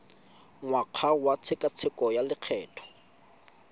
ngwaga wa tshekatsheko ya lokgetho